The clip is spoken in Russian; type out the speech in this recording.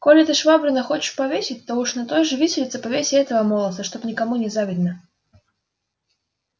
коли ты швабрина хочешь повесить то уж на той же виселице повесь и этого молодца чтоб никому не было завидно